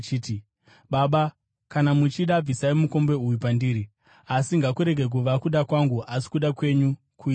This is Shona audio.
“Baba, kana muchida, bvisai mukombe uyu pandiri; asi ngakurege kuva kuda kwangu, asi kuda kwenyu kuitwe.”